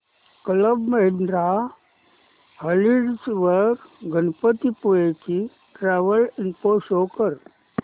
club Mahindra Holidays वर गणपतीपुळे ची travel info show कर